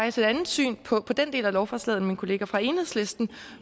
et andet syn på den del af lovforslaget end min kollega fra enhedslisten